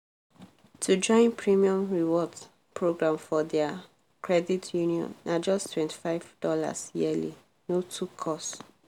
to join premium rewards program for their credit union na justtwenty five dollarsyearly—no too cost.